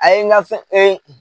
A ye n ka fɛn